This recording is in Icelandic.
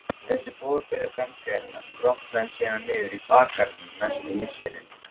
Þessi boðberi framtíðarinnar grotnaði síðan niður í bakgarðinum næstu misserin.